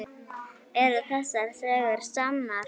Eru þessar sögur sannar?